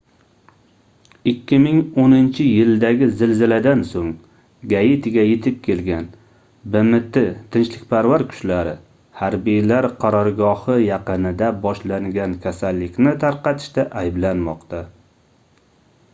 2010-yildagi zilziladan soʻng gaitiga yetib kelgan bmt tinchlikparvar kuchlari harbiylar qarorgohi yaqinida boshlangan kasallikni tarqatishda ayblanmoqda